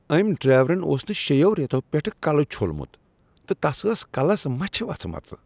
أمۍ ڈرٛیورن اوس نہٕ شیٚیو رٮ۪تو پٮ۪ٹھٕ کلہٕ چھوٚلمت تہٕ تس آسہٕ کلس مچھ وژھمژٕ۔